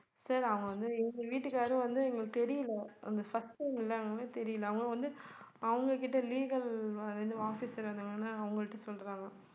sir அவங்க வந்து இவங்க வீட்டுக்காரும் வந்து எங்களுக்கு தெரியல அந்த first time ல்ல அதனால தெரியல அவங்க வந்து அவங்க கிட்ட legal இது officer அவங்கள்ட்ட சொல்றாங்க